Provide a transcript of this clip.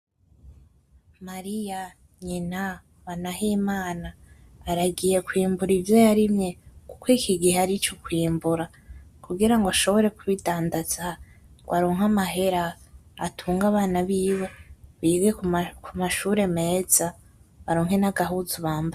Mariya nyina wa Nahimana aragiye kwimbura ivyo yarimye kuko iki gihe arico kwimbura kugira ashobore kubidandaza ngo aronke amahera atunge abana biwe bige ku mashure meza baronke nagahuzu bambara.